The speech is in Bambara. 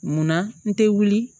Munna n te wuli